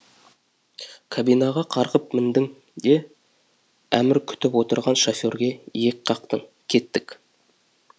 кабинаға қарғып міндің де әмір күтіп отырған шоферге иек қақтың кеттік